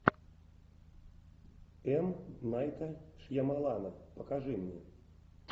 м найта шьямалана покажи мне